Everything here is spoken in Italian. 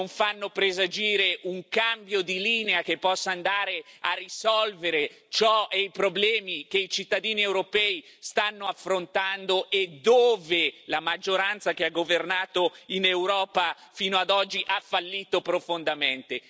non fanno presagire un cambio di linea che possa andare a risolvere i problemi che i cittadini europei stanno affrontando e dove la maggioranza, che ha governato in Europa fino ad oggi, ha fallito profondamente.